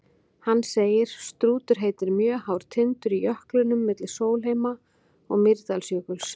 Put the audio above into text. Hann segir: Strútur heitir mjög hár tindur í jöklinum milli Sólheima- og Mýrdalsjökuls.